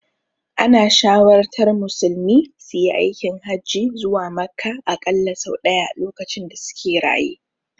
Ana shawartar musulmi suyi aikin hajji zuwa Makka aƙalla sau ɗaya lokacin da suke raye.